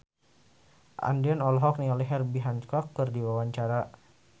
Andien olohok ningali Herbie Hancock keur diwawancara